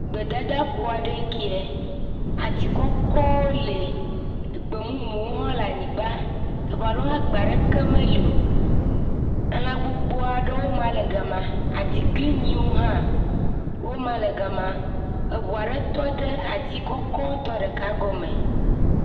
Gbedadaƒo aɖe nye kɛa. Ati kɔkɔwo li, gbe mumu hãwo le nye anyigba, teƒe aɖewo hã gbe aɖeke meli o. Lã gbogbo aɖewoe ma le gema, atiglinyiwo hã wo ma le gema. ŋu aɖe tɔ ɖe ati kɔkɔ ɖeka gɔme.